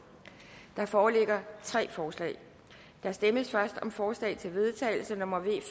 der foreligger tre forslag der stemmes først om forslag til vedtagelse nummer v